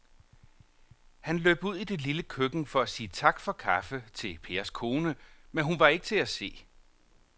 Han løb ud i det lille køkken for at sige tak for kaffe til Pers kone, men hun var ikke til at se.